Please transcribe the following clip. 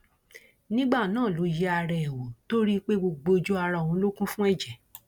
nígbà náà ló yẹ ara ẹ wò tó rí i pé gbogbo ojú ara òun ló kún fún ẹjẹ